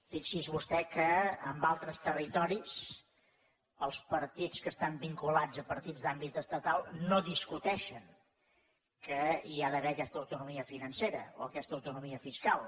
fixi’s vostè que en altres territoris els partits que estan vinculats a partits d’àmbit estatal no discuteixen que hi ha d’haver aquesta autonomia financera o aquesta autonomia fiscal